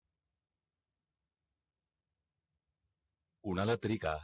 कोणाला तरी का